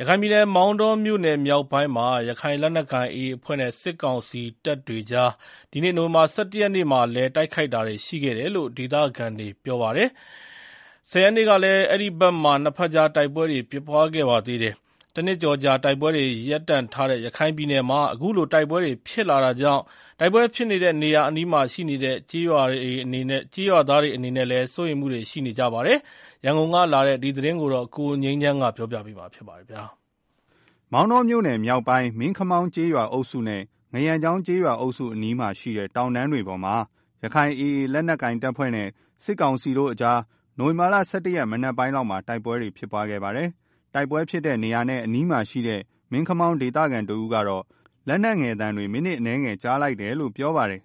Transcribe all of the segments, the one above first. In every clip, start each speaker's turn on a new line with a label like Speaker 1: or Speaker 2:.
Speaker 1: ရခိုင်ပြည်နယ် မောင်တောမြို့နယ်မြောက်ပိုင်းမှာ ရခိုင်လက်နက်ကိုင် AA အဖွဲ့နဲ့ စစ်ကောင်စီတပ်တို့ကြား နိုဝင် ဘာလ ၁၁ ရက်နေ့မှာလည်း တိုက်ခိုက်တာရှိခဲ့တယ်လို့ ဒေသခံတွေက ပြောပါတယ်။ ၁၀ ရက်နေ့ကလည်း အဲဒီဘက်မှာ နှစ်ဘက်ကြား တိုက်ပွဲဖြစ်ခဲ့ပါတယ်။ တနှစ်ကျော်ကြာ တိုက်ပွဲတွေ ရပ်တန့်ထားတဲ့ ရခိုင်ပြည်နယ်မှာ အခုလိုတိုက်ပွဲတွေ ဖြစ်လာတာကြောင့် တိုက်ပွဲဖြစ်နေတဲ့ နေရာအနီးမှာ ရှိတဲ့ကျေးရွာသားတွေအနေနဲ့ စိုးရိမ်နေကြတာပါ။ ရန်ကုန်ကလာတဲ့ ဒီသတင်းကို ကိုငြိမ်းချမ်းက တင်ပြပေးထားပါတယ်
Speaker 2: ။ မောင်တောမြို့နယ်မြောက်ပိုင်း မင်းခမောင်းကျေးရွာအုပ်စုနဲ့ ငါးရန့်ချောင်း ကျေးရွာအုပ်စုအနီးမှာရှိတဲ့ တောင်တန်းတွေပေါ်မှာ ရခိုင်လက်နက်ကိုင် AA အဖွဲ့နဲ့ စစ်ကောင်စီတို့ နိုဝင်ဘာ ၁၁ ရက် မနက်ပိုင်းလောက်က တိုက် ပွဲဖြစ်ခဲ့ပါတယ်။ တိုက်ပွဲဖြစ်တဲ့နေရာနဲ့ အနီးမှာရှိတဲ့ မင်းခမောင်းဒေသခံတဦးကတော့ လက်နက်ငယ်သံတွေ မိနစ်အနည်းငယ် ကြားလိုက်တယ်လို့ ပြောပါတယ်။ “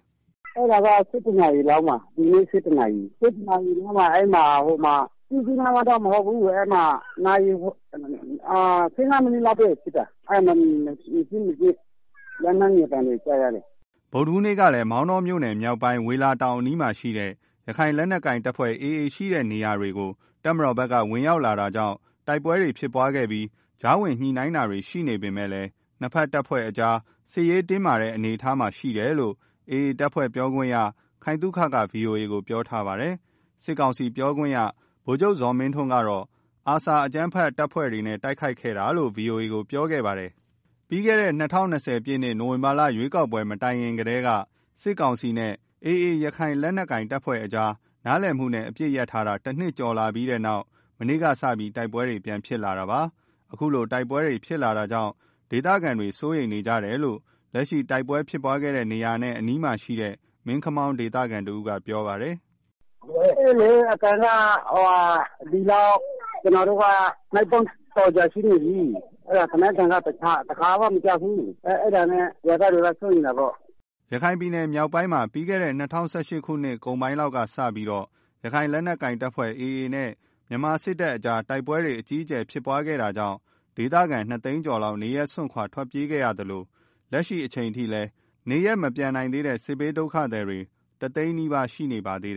Speaker 3: ဒီနေ့ ၁၁ နာရီလောက်မှာဖြစ်တာ ကြီးကြီးမားမားတော့မဟုတ်ဘူး။ ၁၅ မိနစ်လောက်ပဲဖြစ်တာ။ လက်နယ်ငယ်သံတွေလောက်ပဲ ကြားရတယ်။
Speaker 2: ” ဗုဒ္ဓဟူးနေ့ကလည်း မောင်တောမြို့နယ်မြောက်ပိုင်း ဝေလာတောင်အနီးမှာရှိတဲ့ ရခိုင်လက်နက်ကိုင် AA တပ်ဖွဲ့ဝင်တွေရှိတဲ့ နေရာတွေကို တပ်မတော်ဘက်က ဝင်ရောက်လာတာကြောင့် တိုက်ပွဲဖြစ်ခဲ့ပြီး ကြားဝင်ညှိနှိုင်းတာတွေ ရှိနေပေမယ့်နှစ်ဘက်အဖွဲ့တွေကြား စစ်ရေးတင်းမာနေတဲ့ အနေအထားမှာရှိတယ်လို့ AA အဖွဲ့ပြောခွင့်ရ ခိုင်သုခက ဗွီအိုအေကို ပြောထားပါတယ်။ စစ်ကောင်စီပြောခွင့်ရ ဗိုလ်ချုပ်ဇော်မင်းထွန်းကတော့ ARSA အကြမ်းဖက်အဖွဲ့တွေနဲ့ တိုက်ခိုက်ခဲ့တာလို့ ဗွီအိုအေကိုပြောခဲ့ပါတယ်။ ပြီးခဲ့တဲ့ ၂၀၂၀ ပြည့်နှစ် နိုဝင်ဘာလရွေးကောက်ပွဲ မတိုင်ခင်ကတည်းက စစ်ကောင်စီနဲ့ ရခိုင်လက်နက်ကိုင် AA အဖွဲ့ကြား နားလည်မှုနဲ့ အပစ်ရပ်ထားတာ တနှစ်ကျော်ရှိလာပြီးတဲ့နောက် မနေ့ကစပြီး တိုက်ပွဲတွေ ပြန်ဖြစ်လာတာပါ။ အခုလို တိုက်ပွဲတွေ ဖြစ်လာတာကြောင့် ဒေသခံတွေ စိုးရိမ်နေကြတယ်လို့ လက်ရှိ တိုက်ပွဲဖြစ်ပွားခဲ့တဲ့နေရာ အနီးမှာရှိတဲ့ မင်းခမောင်းဒေသခံတဦးက ပြောပါတယ်။ “
Speaker 3: ကျနော်တို့က ဒီမှာနေတာ နှစ်ပေါင်း ၁၀ ကျော်ရှိနေပြီ။ သေနတ်သံက တခါမှမကြားဖူးဘူး။ အဲဒါကြောင့် ရွာသားတွေက စိုးရိမ်တာပေါ့။
Speaker 2: ” ရခိုင်ပြည်နယ်မြောက်ပိုင်းမှာ ပြီးခဲ့တဲ့ ၂၀၁၈ အကုန်ပိုင်းလောက်ကစပြီး ရခိုင်လက်နက်ကိုင် AA အဖွဲ့နဲ့ မြန်မာစစ်တပ်ကြား တိုက်ပွဲတွေ အကြီးအကျယ်ဖြစ်ခဲ့တာကြောင့် ဒေသခံ ၂ သိန်းကျော်လောက် နေရပ်စွန့်ခွာ ထွက်ပြေးခဲ့ရသလို လက်ရှိအချိန်ထိလည်း နေရပ်မပြန်နိုင်သေးတဲ့ စစ်ဘေးဒုက္ခသည်တွေ တသိန်းနီးပါး ရှိနေပါသေးတယ်